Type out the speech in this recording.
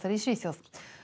í Svíþjóð